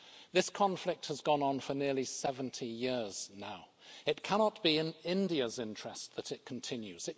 This conflict has gone on for nearly 70 years now. It cannot be in India's interest that it continues.